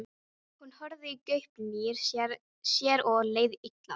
Hún horfði í gaupnir sér og leið illa.